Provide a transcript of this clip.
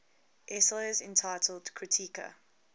essays entitled kritika